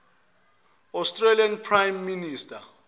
australian prime minister